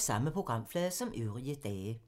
Samme programflade som øvrige dage